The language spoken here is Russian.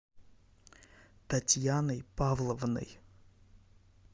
татьяной павловной